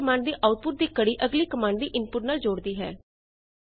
pipe ਇਕ command ਦੀ output ਦੀ ਕੜੀ ਅਗਲੀ ਕਮਾਂਡ ਦੀ ਇਨਪੁਟ ਨਾਲ ਜੋੜਦੀ ਹੈ